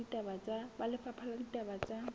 ba lefapha la ditaba tsa